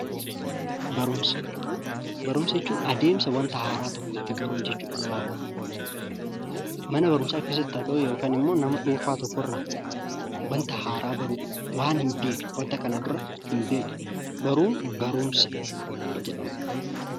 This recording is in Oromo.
Barumsa, barumsa jechuun adeemsa wanta haaraa tokko itti baruu jechuudha gabaabumatti. Mana barumsaa keessatti haa ta'uu yookan immoo nama dhuunfaa tokkorraa wanta haaraa baruu. Waan hinbeekne, wanta kana dura hin beekne baruun barumsa jedhama.